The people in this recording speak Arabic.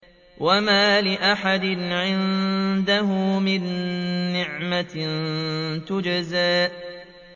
وَمَا لِأَحَدٍ عِندَهُ مِن نِّعْمَةٍ تُجْزَىٰ